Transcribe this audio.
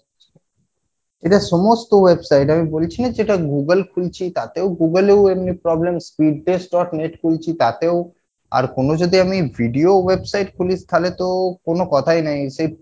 এটা সমস্ত website এ আমি বলেছি না যে এটা Google খুলছি তাতেও Google এ এমনি problems, speed test dot net খুলছি তাতেও আর কোনো যদি আমি video website খুলি তালে তো কোনো কথাই নাই সে